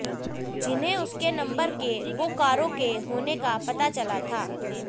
जिन्हें उसके नंबर के बोकारो के होने का पता चला था